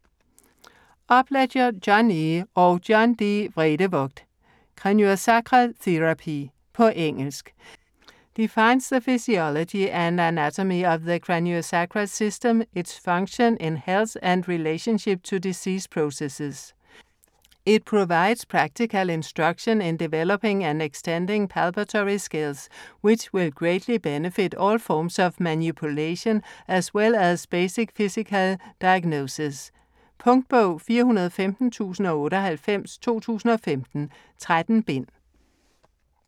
Upledger, John E. og John D. Vredevoogd: Craniosacral therapy På engelsk. Defines the physiology and anatomy of the craniosacral system, its function in health, and relationship to disease processes. It provides practical instruction in developing and extending palpatory skills which will greatly benefit all forms of manipulation, as well as basic physical diagnosis. Punktbog 415098 2015. 13 bind.